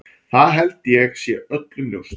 Það held ég sé öllum ljóst.